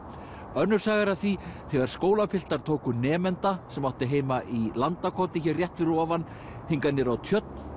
önnur saga er af því þegar skólapiltar tóku nemanda sem átti heima í Landakoti hér rétt fyrir ofan hingað niður á tjörn